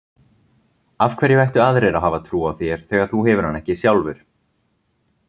Af hverju ættu aðrir að hafa trú á þér þegar þú hefur hana ekki sjálfur?